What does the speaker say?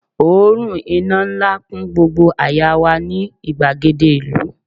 òórùn iná nla kun gbogbo àyà wa ni igbagede ìlú